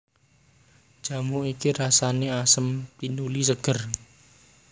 Jamu iki rasané asem tinuli ségér